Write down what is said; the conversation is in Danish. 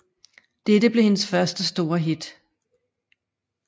Dette blev hendes første store hit